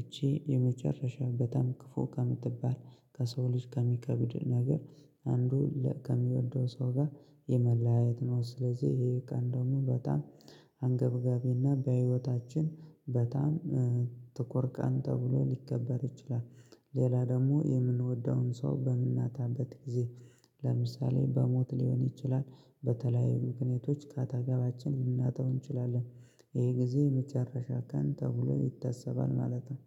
እቺ የመጨረሻው በጣም ክፉ ከምትባል። ከሰው ልጅ ከሚከብድ ነገር አንዱ ከሚወደው ሰው ጋር የመለያየት ነው። ስለዚህ ይሄ ቀን ደግሞ በጣም አንገብጋቢና በህይወታችን በጣም ጥቁር ቀን ተብሎ ሊከበር ይችላል። ሌላ ደግሞ የምንወደውን ሰው በምናጣበት ጊዜ ለምሳሌ በሞት ሊሆን ይችላል። በተለያዩ ምክንያቶች ካጠገባችን ልናጠው እንችላለን። ይሄ ጊዜ የመጨረሻ ቀን ተብሎ ይታሰባል ማለት ነው